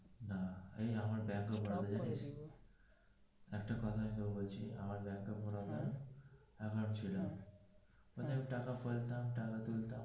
এই আমার ব্যাংকের একটা কথা তোকে বলছি আমের ব্যাংকে প্রথমে এক হাজার ছিল মানে টাকা ফেলতাম টাকা তুলতাম.